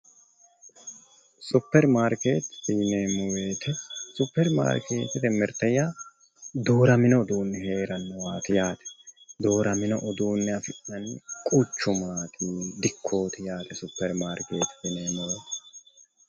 superimarkeetete yineemmo wote superimarkeetete mirte yaa dooramino uduunni heerannowaati yaate dooramino uduunne afi'nanni quchumaati yaate dikkooti yaate superimarkeetete yineemmo wote.